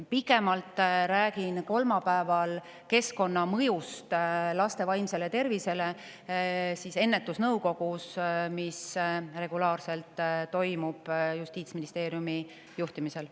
Pikemalt räägin kolmapäeval keskkonna mõjust laste vaimsele tervisele ennetusnõukogus, kes regulaarselt käib koos Justiitsministeeriumi juhtimisel.